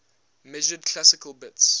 measured classical bits